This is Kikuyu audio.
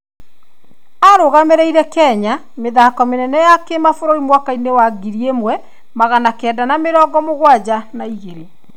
Arũgamĩrĩire Kenya mĩthako mĩnene ya kĩmabũrũri mwaka-inĩ wa ngiri ĩmwe magana kenda ma mĩrongo mugwanja na ĩgĩrĩ.